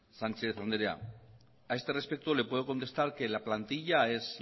sánchez anderea a este respecto le puedo contestar que la plantilla es